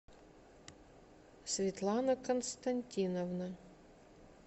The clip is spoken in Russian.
светлана константиновна